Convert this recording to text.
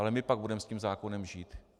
Ale my pak budeme s tím zákonem žít.